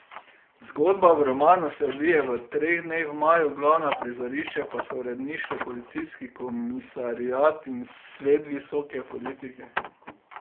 Zgodba v romanu se odvije v treh dneh v maju, glavna prizorišča pa so uredništvo, policijski komisariat in svet visoke politike.